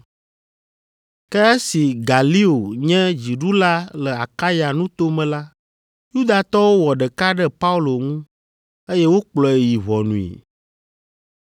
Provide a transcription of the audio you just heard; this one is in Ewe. Ke esi Galio nye dziɖula le Akaya nuto me la, Yudatɔwo wɔ ɖeka ɖe Paulo ŋu, eye wokplɔe yi ʋɔnui.